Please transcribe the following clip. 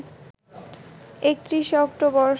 ৩১ October